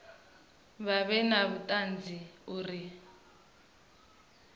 vha vhe na vhuṱanzi uri